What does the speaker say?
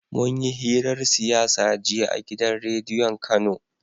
munyi hirar siyasa jiya a gidan rediyon kano